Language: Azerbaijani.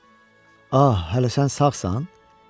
Ah, hələ sən sağsan?